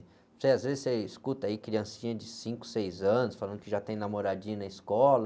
Não sei, às vezes você escuta aí criancinha de cinco, seis anos falando que já tem namoradinha na escola,